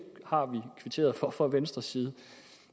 har vi kvitteret for fra venstres side